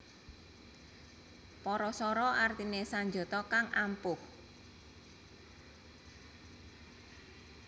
Parasara artiné sanjata kang ampuh